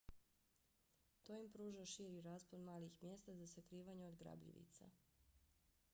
to im pruža širi raspon malih mjesta za sakrivanje od grabljivica